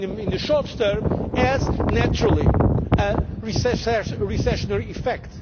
the right calibration for a policy that of course